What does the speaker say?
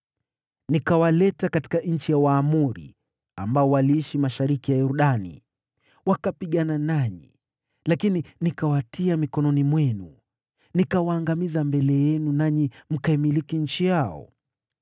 “ ‘Nikawaleta katika nchi ya Waamori ambao waliishi mashariki mwa Yordani. Wakapigana nanyi, lakini nikawatia mikononi mwenu. Nikawaangamiza mbele yenu nanyi mkaimiliki nchi yao.